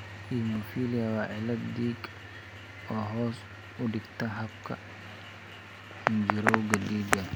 Hemophilia waa cillad dhiig oo hoos u dhigta habka xinjirowga dhiigga.